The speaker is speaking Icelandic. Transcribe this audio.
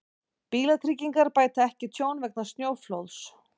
Bílatryggingar bæta ekki tjón vegna snjóflóðs